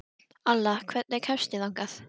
Alla, hvernig kemst ég þangað?